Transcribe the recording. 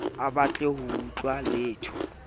a batle ho utlwa letho